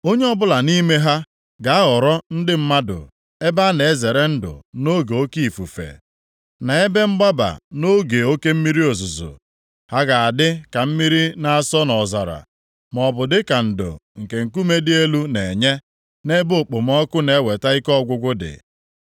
Onye ọbụla nʼime ha ga-aghọrọ ndị mmadụ ebe a na-ezere ndụ nʼoge oke ifufe, na ebe mgbaba nʼoge oke mmiri ozuzo. Ha ga-adị ka mmiri na-asọ nʼọzara, maọbụ dịka ndo nke nkume dị elu na-enye nʼebe okpomọkụ na-eweta ike ọgwụgwụ dị.